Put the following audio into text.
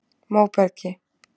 Móbergi